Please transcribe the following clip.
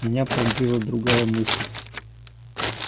меня пронзила другая мысль